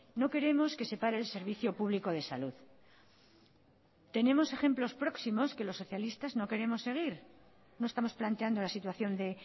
no queremos que se pare el servicio público de salud tenemos ejemplos próximos que los socialistas no queremos seguir no estamos planteando la situación de